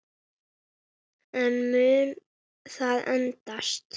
En mun það endast?